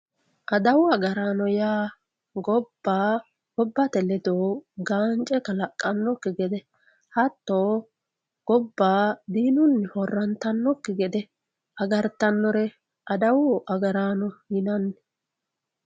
adawu agaraano yaa gobba gobbate ledo gaance kalaqannokki gede hatto gobba diinunni horrantannokki gede agartannore adawu agaraano yinanni.